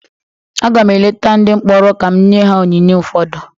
Aga m eleta ndị mkpọrọ ka m nye ha onyinye ụfọdụ